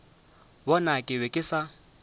bona ke be ke sa